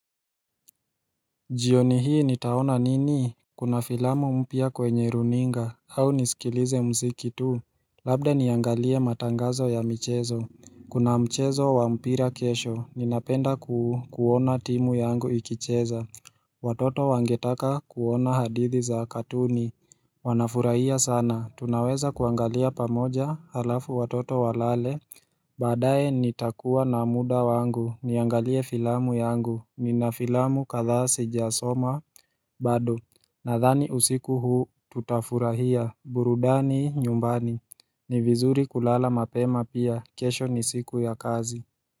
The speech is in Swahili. Jioni hii nitaona nini, kuna filamu mpya kwenye runinga, au nisikilize muziki tu, labda niangalie matangazo ya michezo Kuna mchezo wa mpira kesho, ninapenda kuona timu yangu ikicheza Watoto wangetaka kuona hadithi za katuni Wanafurahia sana, tunaweza kuangalia pamoja halafu watoto walale baadaye ni takua na muda wangu, niangalie filamu yangu, ni na filamu kadhaa sijasoma bado Nadhani usiku huu tutafurahia, burudani nyumbani, ni vizuri kulala mapema pia, kesho ni siku ya kazi.